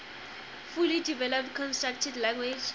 fully developed constructed language